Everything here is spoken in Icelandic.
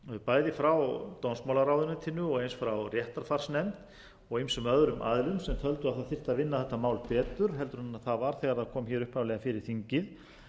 bæði frá dómsmálaráðuneytinu og eins frá réttarfarsnefnd og ýmsum öðrum aðilum sem töldu það þyrfti að vinna þetta mál betur heldur en það var þegar það